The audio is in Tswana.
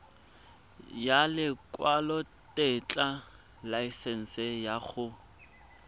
ya lekwalotetla laesense ya go